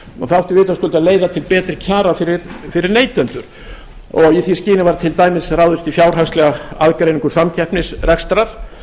átti vitaskuld að leiða til betri kjara fyrir neytendur í því skyni var til dæmis ráðist í fjárhagslega aðgreiningu samkeppnisrekstrar